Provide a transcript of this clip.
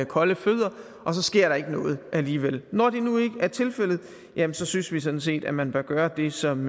kolde fødder og så sker der ikke noget alligevel når det nu ikke er tilfældet jamen så synes vi sådan set at man bør gøre det som